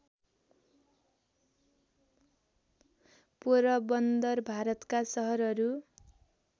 पोरबन्दर भारतका सहरहरू